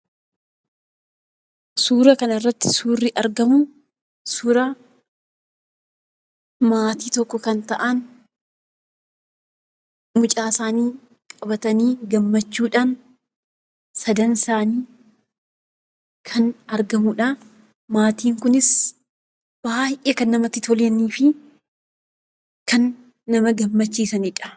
Suuraa kana irratti kan argamuu, suuraa maatii tokko kan ta'aan mucaa isaani qabatani gaammachuudhaan sadii ta'ani kan argamanidha. Maatiin kunis baay'ee kan namatti tolaanifi kan nama gaammachiisanidha.